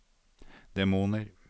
demoner